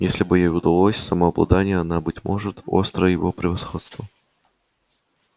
если бы ей удалось самообладание она быть может остро его превосходство